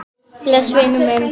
Bless vinur minn.